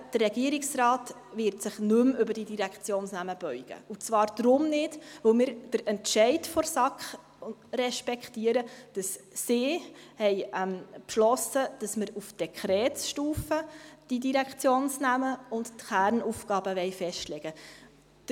Der Regierungsrat wird sich nicht mehr über diese Direktionsnamen beugen, und zwar darum nicht, weil wir den Entscheid der SAK respektieren, dass man die Direktionsnamen und die Kernaufgaben auf Dekretsstufe festlegen will.